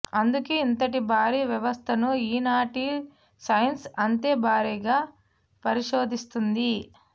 అందుకే ఇంతటి భారీ వ్యవస్థను ఈనాటి సైన్స్ అంతే భారీగా పరిశోధిస్తోంది